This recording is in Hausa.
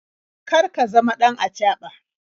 Kar ka zama ɗan acaɓa.